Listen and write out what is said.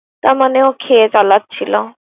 তার মানে ও খেয়ে চালাচ্ছিল।